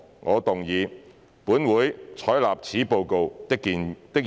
我動議"本會採納此報告"的議案。